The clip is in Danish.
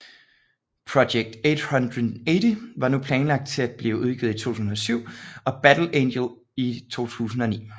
Project 880 var nu planlagt til at blive udgivet i 2007 og Battle Angel i 2009